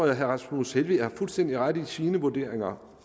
at herre rasmus helveg har fuldstændig ret i sine vurderinger